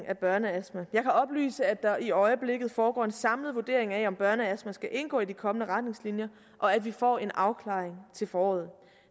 af børneastma jeg kan oplyse at der i øjeblikket foregår en samlet vurdering af om børneastma skal indgå i de kommende retningslinjer og at vi får en afklaring til foråret